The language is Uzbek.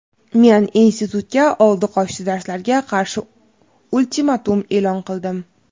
Men institutga oldi-qochdi darslarga qarshi ultimatum eʼlon qildim.